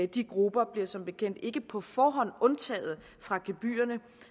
de grupper bliver som bekendt ikke på forhånd undtaget fra gebyrerne